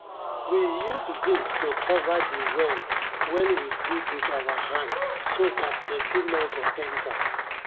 we use zinc to cover de well wen we dig wit our hand so dat dirty nor go enta.